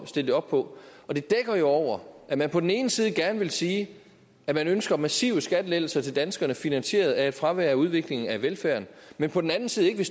stille det op på det dækker jo over at man på den ene side gerne vil sige at man ønsker massive skattelettelser til danskerne finansieret af et fravær af udvikling af velfærden men på den anden side vil